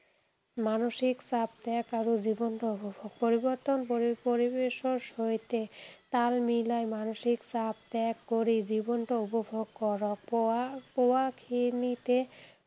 মানসিক চাপ ত্যাগ আৰু জীৱনটো উপভোগ পৰিৱৰ্তন পৰি পৰিবেশৰ সৈতে তাল মিলাই মানসিক চাপ ত্যাগ কৰি জীৱনটো উপভোগ কৰক। পোৱা পোৱা খিনিতে